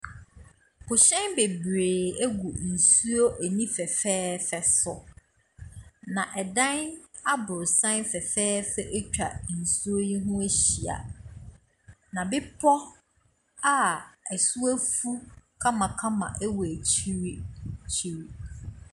Pohyɛn bebree gu nsuo ani fɛfɛɛfɛ so. Na ɛdan abrosan fɛfɛɛfɛ atwa nsuo yi ho ahyia, na bepɔ a ɛso afu kamakama ɛwɔ akyiriakyiri.